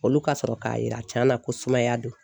Olu ka sɔrɔ k'a yira tiɲɛ na ko sumaya don